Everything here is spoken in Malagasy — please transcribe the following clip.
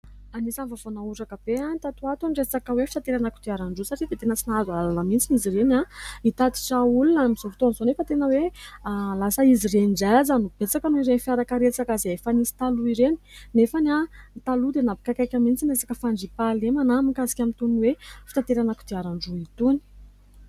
Anisan'ny vaovao nahoraka be ny tatoato ny resaka hoe fitaterana kodiaran-droa, satria dia tena tsy nahazo alalana mihintsy izy ireny, hitatitra olona. Amin'izao fotoan'izao nefa tena hoe lasa izy ireny ndray aza no betsaka noho ireny fiarakaretsaka izay efa nisy taloha ireny. Nefa ny taloha dia nampikaikaika mihintsy na resaka fandriam-pahalemana mikasika an'itony hoe fitanterana kodiaran-droa itony.